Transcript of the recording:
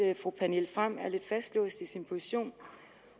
fru pernille frahm er lidt fastlåst i sin position